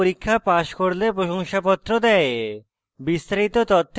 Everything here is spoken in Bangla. online পরীক্ষা pass করলে প্রশংসাপত্র দেয়